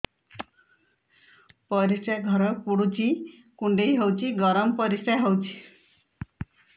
ପରିସ୍ରା ଘର ପୁଡୁଚି କୁଣ୍ଡେଇ ହଉଚି ଗରମ ପରିସ୍ରା ହଉଚି